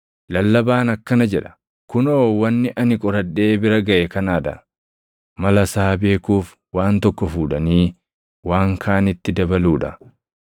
Lallabaan akkana jedha; “Kunoo wanni ani qoradhee bira gaʼe kanaa dha: “Mala isaa beekuuf waan tokko fuudhanii waan kaanitti dabaluu dha;